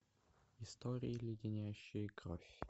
истории леденящие кровь